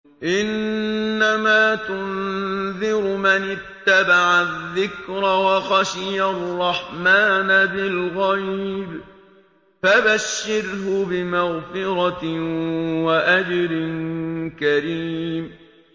إِنَّمَا تُنذِرُ مَنِ اتَّبَعَ الذِّكْرَ وَخَشِيَ الرَّحْمَٰنَ بِالْغَيْبِ ۖ فَبَشِّرْهُ بِمَغْفِرَةٍ وَأَجْرٍ كَرِيمٍ